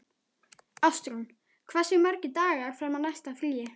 Ástrún, hversu margir dagar fram að næsta fríi?